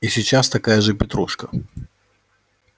и сейчас такая же петрушка